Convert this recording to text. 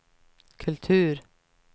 kultur